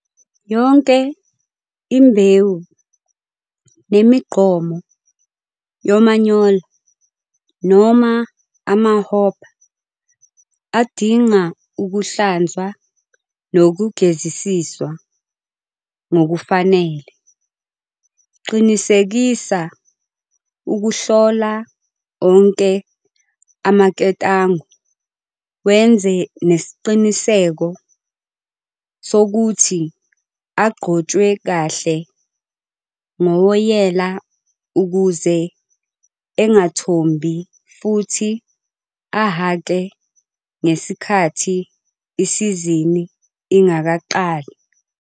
Yonke imbewu nemigqomo yomanyolo noma ama-hopper adinga ukuhlanzwa nokugezisiswa ngokufanele. Qinisekisa ukuhlola onke amaketango wenze nesiqiniseko sokuthi agcotshwe kahle ngowoyela ukuze engathombi futhi ahhake ngesikhathi isizini ingakaqalai.